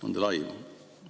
On teil aimu?